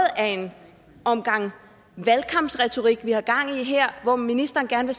af en omgang valgkampsretorik vi har gang i her hvor ministeren gerne